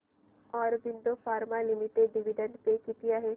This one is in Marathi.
Aurobindo pharma limited dividend pay किती आहे